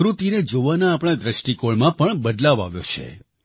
પ્રકૃતિને જોવાના આપણા દ્રષ્ટિકોણમાં પણ બદલાવ આવ્યો છે